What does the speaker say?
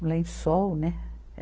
Um lençol, né?